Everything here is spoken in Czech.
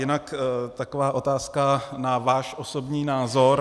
Jinak taková otázka na váš osobní názor.